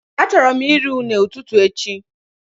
I would love to have plantain as my breakfast tomorrow